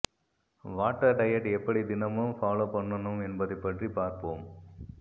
water diet எப்படி தினமும் follow பண்ணணும் என்பதைப் பற்றி பார்ப்போம்